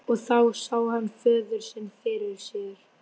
Og þá sá hann föður sinn fyrir sér.